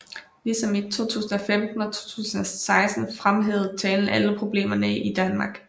Ligesom i 2015 og 2016 fremhævede talen alle problemerne i Danmark